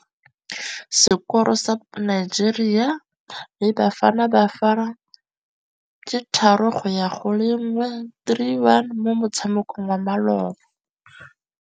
Sekôrô sa Nigeria le Bafanabafana ke 3-1 mo motshamekong wa malôba.